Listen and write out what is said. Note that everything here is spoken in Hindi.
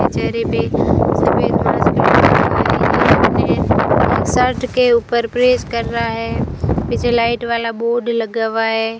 चेहरे पे सफेद मास्क शर्ट के ऊपर प्रेस कर रहा है पीछे लाइट वाला बोर्ड लगा हुआ है।